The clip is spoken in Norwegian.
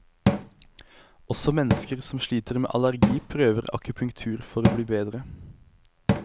Også mennesker som sliter med allergi, prøver akupunktur for å bli bedre.